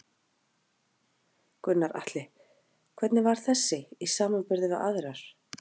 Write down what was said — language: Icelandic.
Gunnar Atli: Hvernig var þessi í samanburði við aðrar?